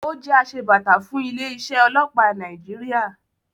Ó jẹ́ asebàtà fún ilé-iṣẹ́ ọlọ́pàá Nàìjíríà.